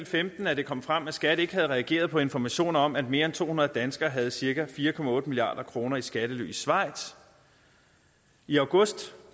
femten at det kom frem at skat ikke havde reageret på informationer om at mere end to hundrede danskere havde cirka fire milliard kroner i skattely i schweiz i august